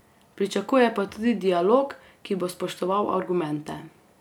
Pričakuje pa tudi dialog, ki bo spoštoval argumente.